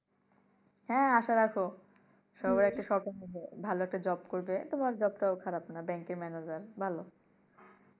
হ্যাঁ আশা রাখো সবাই একটা সরকারি ভালো একটা job করবে তোমার job টা ও ভালো খারাপ না ব্যাংকের ম্যানাজার ভালো